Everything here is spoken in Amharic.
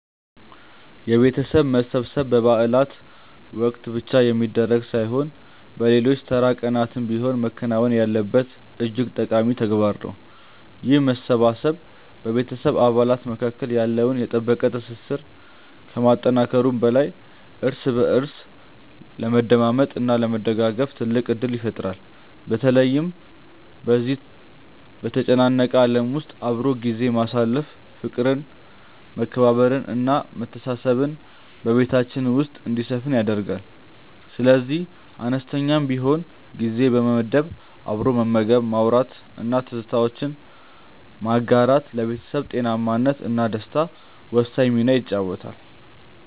የቤተሰብ መሰብሰብ በበዓላት ወቅት ብቻ የሚደረግ ሳይሆን በሌሎች ተራ ቀናትም ቢሆን መከናወን ያለበት እጅግ ጠቃሚ ተግባር ነው። ይህ መሰባሰብ በቤተሰብ አባላት መካከል ያለውን የጠበቀ ትስስር ከማጠናከሩም በላይ እርስ በእርስ ለመደማመጥ እና ለመደጋገፍ ትልቅ ዕድል ይፈጥራል። በተለይ በዚህ በተጨናነቀ ዓለም ውስጥ አብሮ ጊዜ ማሳለፍ ፍቅርን መከባበርን እና መተሳሰብን በቤታችን ውስጥ እንዲሰፍን ያደርጋል። ስለዚህ አነስተኛም ቢሆን ጊዜ በመመደብ አብሮ መመገብ ማውራት እና ትዝታዎችን ማጋራት ለቤተሰብ ጤናማነት እና ደስታ ወሳኝ ሚና ይጫወታል